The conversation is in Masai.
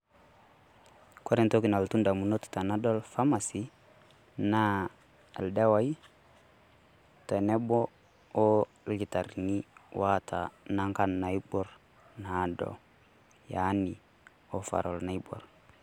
Kore entoki nalotu idamunot tenadol harmacy naa ildawaii tenebo orlkitarri ni oata Inangan naiborr naado Yaani overall naiborr.